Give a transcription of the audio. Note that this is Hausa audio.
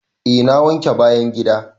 Eh na wanke bayan gida.